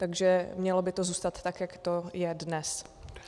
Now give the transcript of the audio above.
Takže mělo by to zůstat tak, jak to je dnes.